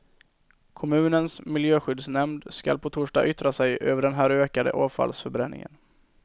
Kommunens miljöskyddsnämnd skall på torsdag yttra sig över den här ökade avfallsförbränningen.